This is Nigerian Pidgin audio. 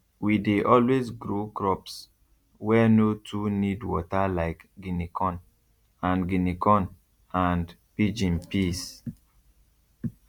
we dey always grow crops wey no too need water like guinea corn and guinea corn and pigeon peas